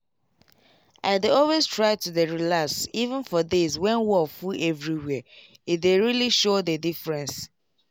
i dey always try to dey relax even for days when wor full everywhere e dey really show the diffreence